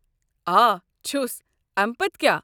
آ چھُس. امہِ پتہٕ کیٛاہ ؟